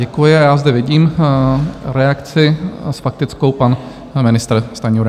Děkuji a já zde vidím reakci - s faktickou pan ministr Stanjura.